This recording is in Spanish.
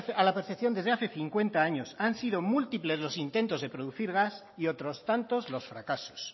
a la perfección desde hace cincuenta años han sido múltiples los intentos de producir gas y otros tantos los fracasos